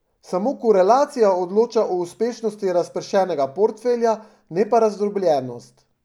Samo korelacija odloča o uspešnosti razpršenega portfelja, ne pa razdrobljenost.